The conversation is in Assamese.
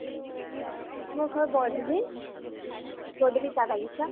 মোৰ ঘৰ বৰ, তুমি? বৰদুবি চাহ বাগিছা।